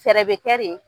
Fɛɛrɛ bɛ kɛ de